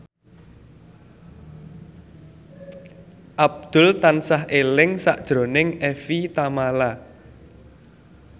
Abdul tansah eling sakjroning Evie Tamala